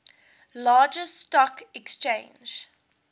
largest stock exchange